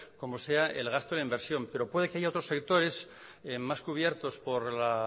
como sea el gasto en la inversión pero puede que haya otros sectores más cubiertos por la